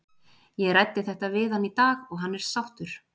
Ég ræddi þetta við hann í dag og hann er sáttur.